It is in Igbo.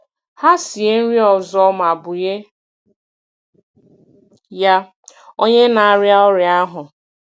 Ha sie nri ọzọ ma bunye ya onye na-arịa ọrịa ahụ.